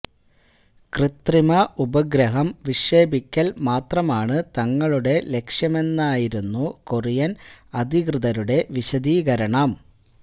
കൃത്രിമ ഉപഗ്രഹം വിക്ഷേപിക്കല് മാത്രമാണ് തങ്ങളുടെ ലക്ഷ്യമെന്നായിരുന്നു കൊറിയന് അധികൃതരുടെ വിശദീകരണം